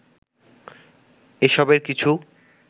এসবের কিছু